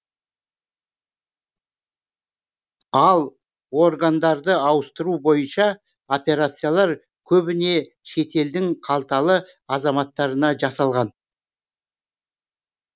ал органдарды ауыстыру бойынша операциялар көбіне шетелдің қалталы азаматтарына жасалған